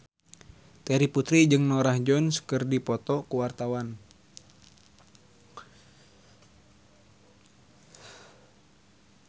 Terry Putri jeung Norah Jones keur dipoto ku wartawan